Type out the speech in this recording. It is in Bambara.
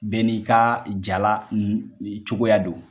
Bɛɛ n'i ka jala cogoya do.